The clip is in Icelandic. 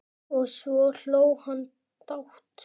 Og svo hló hann dátt!